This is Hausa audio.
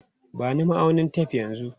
Ba ni ma'aunin tef yanzu!